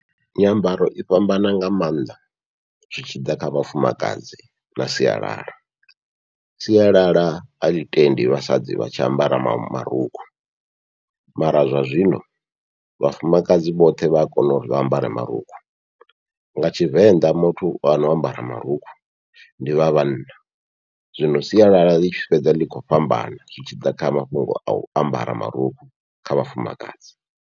Nyambaro i fhambana nga maanḓa zwi tshi ḓa kha vhafumakadzi na sialala, sialala aḽi tendi vhasadzi vha tshi ambara marukhu mara zwa zwino vhafumakadzi vhoṱhe vha ya kona uri vha ambare marukhu, nga tshivenḓa muthu ano ambara marukhu ndi vha vhanna, zwino sialala ḽi tshi fhedza ḽi kho fhambana zwi tshi ḓa kha mafhungo au ambara marukhu kha vhafumakadzi.